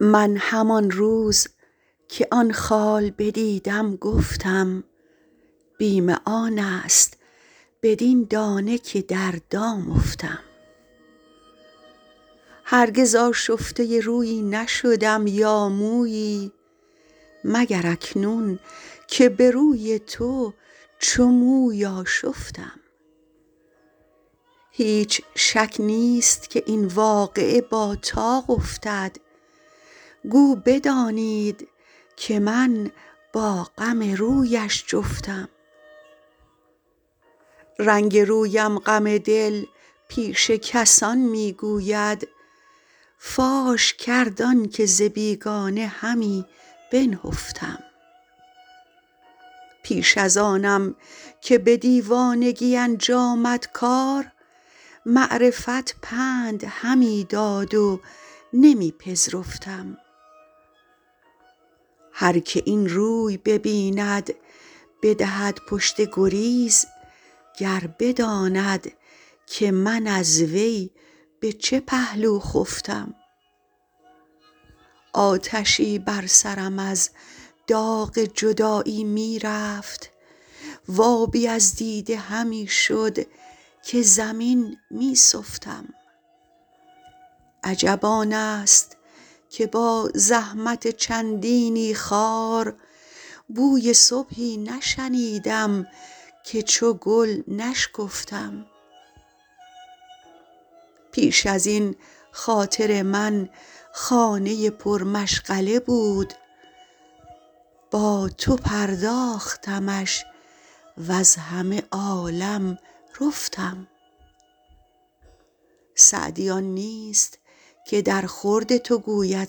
من همان روز که آن خال بدیدم گفتم بیم آن است بدین دانه که در دام افتم هرگز آشفته رویی نشدم یا مویی مگر اکنون که به روی تو چو موی آشفتم هیچ شک نیست که این واقعه با طاق افتد گو بدانید که من با غم رویش جفتم رنگ رویم غم دل پیش کسان می گوید فاش کرد آن که ز بیگانه همی بنهفتم پیش از آنم که به دیوانگی انجامد کار معرفت پند همی داد و نمی پذرفتم هر که این روی ببیند بدهد پشت گریز گر بداند که من از وی به چه پهلو خفتم آتشی بر سرم از داغ جدایی می رفت و آبی از دیده همی شد که زمین می سفتم عجب آن است که با زحمت چندینی خار بوی صبحی نشنیدم که چو گل نشکفتم پیش از این خاطر من خانه پرمشغله بود با تو پرداختمش وز همه عالم رفتم سعدی آن نیست که درخورد تو گوید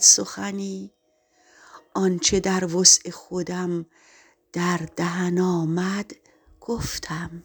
سخنی آن چه در وسع خودم در دهن آمد گفتم